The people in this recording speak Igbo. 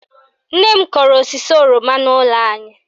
Nne m kọrọ osisi oroma n'ụlọ anyị